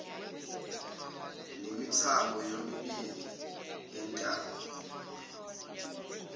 nemithambo yomibili yentamo